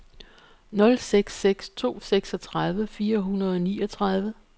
nul seks seks to seksogtredive fire hundrede og niogtredive